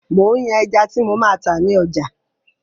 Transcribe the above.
Mo ń yàn ẹja tí mo máa tá ni ọjà